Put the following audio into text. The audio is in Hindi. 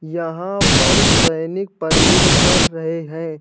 यहां पर सैनिक परेड कर रहे हैं।